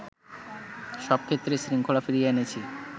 সবক্ষেত্রে শৃঙ্খলা ফিরিয়ে এনেছি